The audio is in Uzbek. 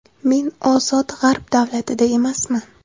Men ozod g‘arb davlatida emasman.